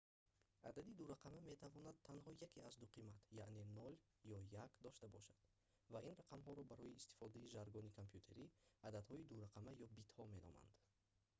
адади дурақама метавонад танҳо яке аз ду қимат яъне 0 ё 1 дошта бошад ва ин рақамҳоро барои истифодаи жаргони компютерӣ ададҳои дурақама ё битҳо меноманд